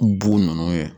Bo nunnu kɛ